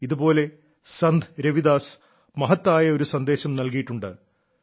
ഇതുപോലെ സന്ത് രവിദാസ് മഹത്തായ ഒരു സന്ദേശം നൽകിയിട്ടുണ്ട്